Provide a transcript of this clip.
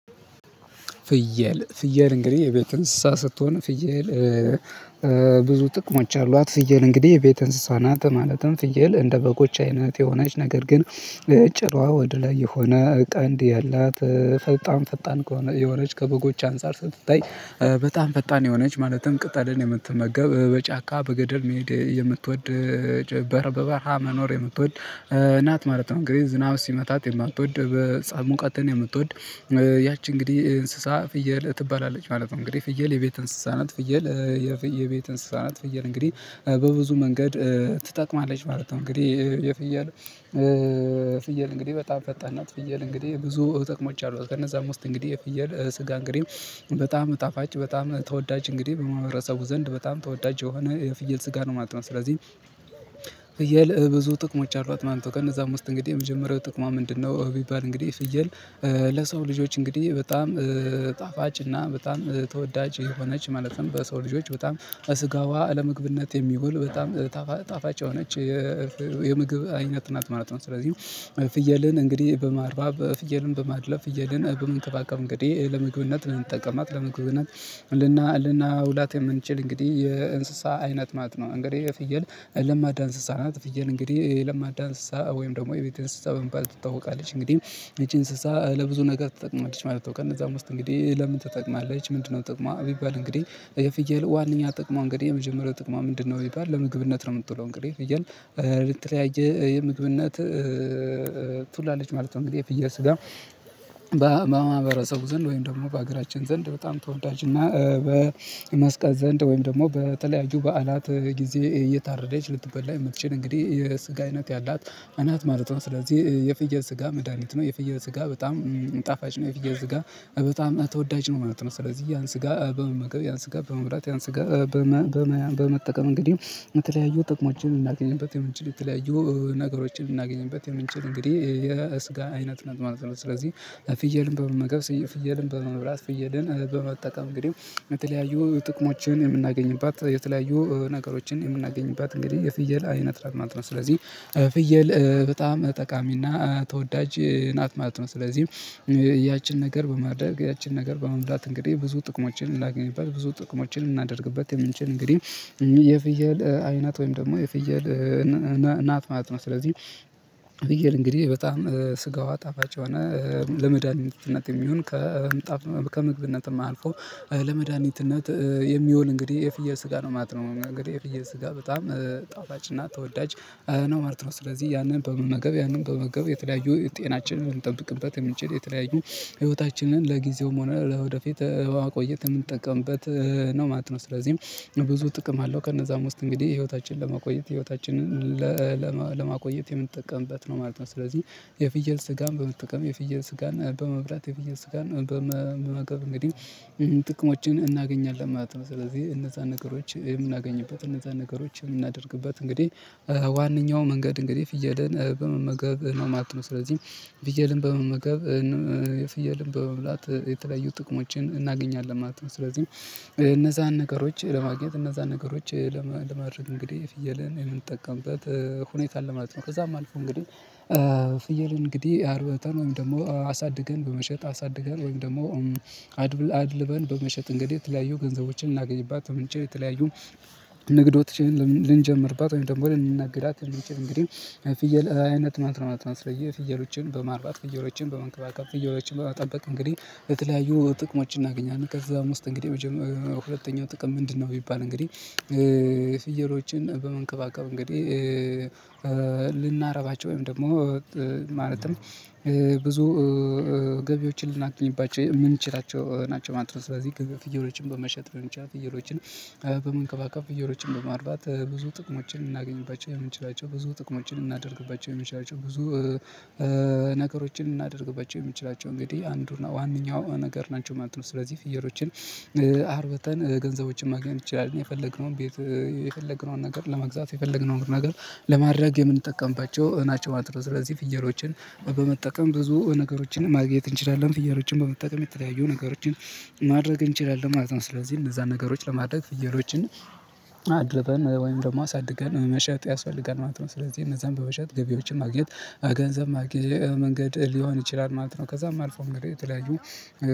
ፍየል ፍየል እንግዲህ የቤት እንስሳ ስትሆን ፍየል። ብዙ ጥቅሞች አሏት ፍየል እንግዲህ የቤት እንስሳናት ማለትም ፍየል እንደ በጎች አይነት የሆነች ነገር ግን ጭረዋ ወደ ላይ የሆነ ቀንድ ያላት በጣም ፈጣን ከሆነ የሆነች ከበጎች አንፃር ስትታይ በጣም ፈጣን የሆነች ማለትም ቅጥል የምትመገብ በጫካ በገደል መሄድ የምትወድ በበረሃ መኖር የምትወድ እናት ማለት ነው። እንግዲህ ዝናብ ሲመታት የማትወድ በጽሃይ፟ ሙቀትን የምትወድ ያቺ እንግዲህ እንስሳ ፍየል ትባላለች ማለት ነው። እንግዲህ ፍየል የቤት እንስሳናት ፍየል የቤት እንስሳናት ፍየል እንግዲህ በብዙ መንገድ ትጠቅማለች ማለት ነው። እንግዲህ የፍየል ፍየል እንግዲህ በጣም ፈጣን ናት ፍየል እንግዲህ ብዙ ጥቅሞች አሏት ከነዛም ውስጥ እንግዲህ የፍየል ስጋ እንግዲህ በጣም ጣፋጭ በጣም ተወዳጅ እንግዲህ በማህበረሰቡ ዘንድ በጣም ተወዳጅ የሆነ የፍየል ስጋ ነው ማለት ነው። ስለዚህ ፍየል ብዙ ጥቅሞች አሏት ማለት ነው ከነዛ ውስጥ እንግዲህ የመጀመሪያው ጥቅሟ ምንድነው? ቢባል እንግዲህ ፍየል ለሰው ልጆች እንግዲህ በጣም ጣፋጭ እና በጣም ተወዳጅ የሆነች ማለትም በሰው ልጆች በጣም ስጋዋ ለምግብነት የሚውል በጣም ጣፋጭ የሆነች የምግብ አይነት ናት ማለት ነው። ስለዚህ ፍየልን እንግዲህ በማርባት ፍየልን በማድለብ ፍየልን በመንከባከብ እንግዲህ ለመግብነት እንጠቀማት እንኳን ልና ልናውላት የምንችል እንግዲህ የእንስሳ አይነት ማለት ነው። እንግዲህ ፍየል ለማዳ እንስሳ ናት ፍየል እንግዲህ ለማዳ እንስሳ ወይም ደግሞ የቤት እንስሳ በመባል ትታወቃለች እንግዲህ ይቺ እንስሳ ለብዙ ነገር ትጠቅማለች ማለት ነው። ከነዛም ውስጥ እንግዲህ ለምን ተጠቅማለች ምንድነው? ጥቅሟ ቢባል እንግዲህ የፍየል ዋናኛ ጥቅሟ እንግዲህ የመጀመሪያው ጥቅሟ ምንድነው ቢባል ለምግብነት ነው። የምትውለው እንግዲህ ፍየል ለተለያዬ የምግብነት ትላለች ማለት ነው። እንግዲህ የፍየል ስጋ በማህበረሰቡ ዘንድ ወይም ደግሞ በሀገራችን ዘንድ በጣም ተወዳጅና በመስቀል ዘንድ ወይም ደግሞ በተለያዩ በዓላት ጊዜ እየታረደች ልትበላ የምትችል እንግዲህ የስጋ አይነት ያላት ናት ማለት ነው። ስለዚህ የፍየል ስጋ መድሃኒት ነው የፍየው ስጋ በጣም ጣፋጭ ነው። የፍየው ስጋ በጣም ተወዳጅ ነው ማለት ነው። ስለዚህ ያን ስጋ በመመገብ ያን ስጋ በመብላት ያን ስጋ በመጠቀም እንግዲህ የተለያዩ ጥቅሞችን ልናገኝበት የምንችል የተለያዩ ነገሮችን ልናገኝበት የምንችል እንግዲህ የስጋ አይነት እናት ማለት ነው። ስለዚህ ፍየልን በመመገብ ፍየልን በመብላት ፍየልን በመጠቀም እንግዲህ የተለያዩ ጥቅሞችን የምናገኝበት የተለያዩ ነገሮችን የምናገኝበት እንግዲህ የፍየል አይነት ማለት ነው። ስለዚህ ፍየል በጣም ጠቃሚና ተወዳጅ ናት ማለት ነው። ስለዚህም ያችን ነገር በማድረግ ያችን ነገር በመብላት እንግዲህ ብዙ ጥቅሞችን የምናገኝባት ብዙ ጥቅሞችን ልናደርግበት የምንችል እንግዲህ የፍየል አይናት ወይም ደግሞ የፍየል ናት ማለት ነው። ስለዚህ ፍየል እንግዲህ በጣም ስጋዋ ጣፋጭ ለመዳኒትነት የሚሆን ከምግብነትም አልፎ ለመድኃኒትነት የሚሆን እንግዲህ የፍየል ስጋ ነው ማለት ነው። እንግዲህ የፈየል ስጋ በጣም ጣፋጭና ተወዳጅ ነው ማለት ነው። ስለዚህ ያንን በመመገብ ያንን በመመገብ የተለያዩ ጤናችንን እልጠብቅበት የምንችል የተለያዩ ህይወታችንን ለጊዜውም ሆነ ለወደፊት ለማቆይት የምንጠቀምበት ነው ማለት ነው። ስለዚህም ብዙ ጥቅም አለው ከነዛም ውስጥ እንግዲህ ህይወታችንን ለማቆየት ህይወታችንን ለማቆየት የምንጠቀምበት ነው ማለት ነው። ስለዚህ የፍየል ስጋን በመንጠቀም የፍየል ስጋና በመብላት የፍየል ስጋን በመቀበል እንግዲህ ጥቅሞችን እናገኛለን ማለት ነው። ስለዚህ እነዛን ነገሮች የምናገኝበት እነዛን ነገሮች የምናደርግበት እንግዲህ ዋነኛው መንገድ እንግዲህ ፍየልን በመመገብ ነው ማለት ነው። ስለዚህ ፍየልን በመመገብ ፍየልን በመብላት የተለያዩ ጥቅሞችን እናገኛለን ማለት ነው። ስለዚህ እነዛን ነገሮች ለማግኘት እነዛን ነገሮች ለማድረግ እንግዲህ ፍየልን የምንጠቀምበት ሁኔታ አለ ለማለት ነው። ከዛም አልፎ እንግዲህ ፍየል እንግዲህ አርብተን ወይም ደግሞ አሳድገን በመሸጥ አሳድገን ወይም ደግሞ አድልበን በመሸጥ እንግዲህ የተለያዩ ገንዘቦችን የምናገኝባት ምንጭ የተለያዩ ንግዶችን ልንጀምርባት ወይም ደግሞ ልንነግድባት የምንችል እንግዲህ ፍየል አይነት ናት ማለት ነው። ስለዚህ ፍየሎችን በማርባት ፍየሎችን በመንከባከብ ፍየሎችን በመጠበቅ እንግዲህ በተለያዩ ጥቅሞችን እናገኛለን ከዛም ውስጥ እንግዲህ ሁለተኛው ጥቅም ምንድነው? ቢባል እንግዲህ ፍየሎችን በመንከባከብ እንግዲህ ልናረባቸው ወይም ደግሞ ማለትም ብዙ ገቢዎችን ልናገኝባቸው የምንችላቸው ናቸው ማለት ነው። ስለዚህ ፍየሎችን በመሸጥ ሊሆን ይችላል። ፍየሎችን በመንከባከብ ፍየሎችን በማርባት ብዙ ጥቅሞችን እናገኝባቸው የምንችላቸው ብዙ ጥቅሞችን እናደርግባቸው የምንችላቸው ብዙ ነገሮችን ልናደርግባቸው የምንችላቸው እንግዲህ አንዱና ዋነኛው ነገር ናቸው ማለት ነው። ስለዚህ ፍየሎችን አርበተን ገንዘቦችን ማግኘት እንችላልን የፈለግነውን የፈለግነውን ነገር ለመግዛት የፈለግነውን ነገር ለማድረግ የምንጠቀምባቸው ናቸው። ስለዚህ ፍየሎችን በመጠቀም ብዙ ነገሮችን ማግኘት እንችላለን። ፍየሎችን በመጠቀም የተለያዩ ነገሮችን ማድረግ እንችላለን ማለት ነው። ስለዚህ እነዛን ነገሮች ለማድረግ ፍየሎችን አድልበን ወይም ደግሞ አሳድገን መሸጥ ያስፋጋል ማለት ነው። ስለዚህ እነዛን በመሸጥ ገቢዎችን ማግኘት ገንዘብ ማግኘት መንገድ ሊሆን ይችላል ማለት ነው። ከዛም አልፎ እንግዲህ የተለያዩ